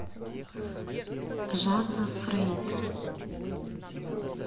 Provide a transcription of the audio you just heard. жанна фрейд